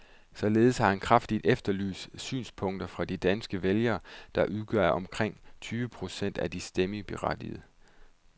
Således har han kraftigt efterlyst synspunkter fra de danske vælgere, der udgør omkring tyve procent af de stemmeberettigede.